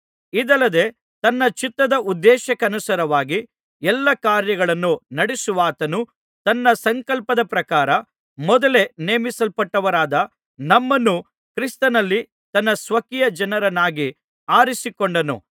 ಇದಲ್ಲದೆ ತನ್ನ ಚಿತ್ತದ ಉದ್ದೇಶಕ್ಕನುಸಾರವಾಗಿ ಎಲ್ಲಾ ಕಾರ್ಯಗಳನ್ನು ನಡೆಸುವಾತನು ತನ್ನ ಸಂಕಲ್ಪದ ಪ್ರಕಾರ ಮೊದಲೇ ನೇಮಿಸಲ್ಪಟ್ಟವರಾದ ನಮ್ಮನ್ನು ಕ್ರಿಸ್ತನಲ್ಲಿ ತನ್ನ ಸ್ವಕೀಯ ಜನರನ್ನಾಗಿ ಅರಿಸಿಕೊಂಡನು